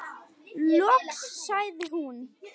Loks sagði hún: